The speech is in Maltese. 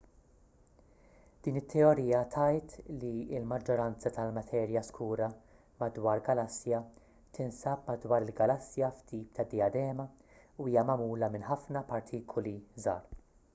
din it-teorija tgħid li l-maġġoranza tal-materja skura madwar galassja tinsab madwar il-galassja f'tip ta' dijadema u hija magħmula minn ħafna partikuli żgħar